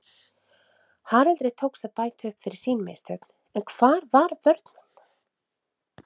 Haraldi tókst að bæta upp fyrir sín mistök en hvar var vörnin????